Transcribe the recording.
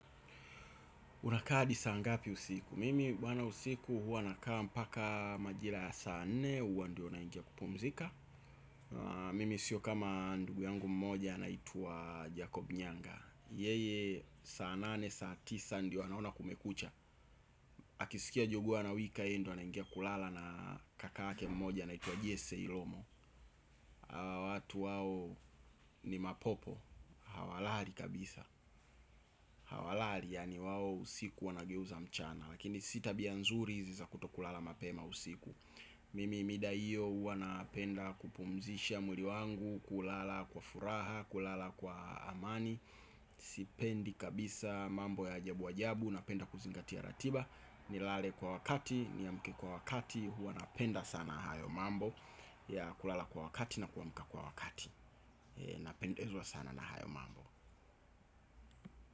Unakaa hadi saa ngapi usiku? Mimi bwana usiku huwa nakaa mpaka majira ya saa nne, huwa ndio naingia kupumzika. Mimi sio kama ndugu yangu mmoja anaitwa Jacob Nyanga. Yeye saa nane, saa tisa ndio anaona kumekucha. Akisikia jogoo anawika, yeye ndio anaingia kulala na kakake mmoja anaitwa Jesse Ilomo. Watu wao ni mapopo. Hawalali kabisa. Hawalali, yaani wao usiku wanageuza mchana. Lakini si tabia nzuri hizi za kutokulala mapema usiku. Mimi mida hiyo huwa napenda kupumzisha mwili wangu. Kulala kwa furaha, kulala kwa amani. Sipendi kabisa mambo ya ajabu ajabu. Napenda kuzingatia ratiba. Nilale kwa wakati, niamke kwa wakati. Huwa napenda sana hayo mambo. Ya kulala kwa wakati na kuamka kwa wakati. Napendezwa sana na hayo mambo.